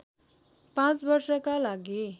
पाँच वर्षका लागि